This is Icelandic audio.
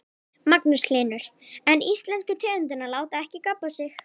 Magnús Hlynur: En íslensku tegundirnar láta ekki gabba sig?